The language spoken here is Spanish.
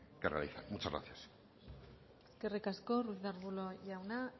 que realizan muchas gracias eskerrik asko ruiz de arbulo jauna